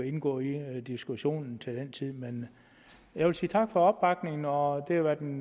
indgå i diskussionen til den tid men jeg vil sige tak for opbakningen og det har været en